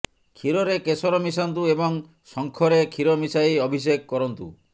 କ୍ଷୀରରେ କେଶର ମିଶାନ୍ତୁ ଏବଂ ଶଙ୍ଖରେ କ୍ଷୀର ମିଶାଇ ଅଭିଷେକ କରନ୍ତୁ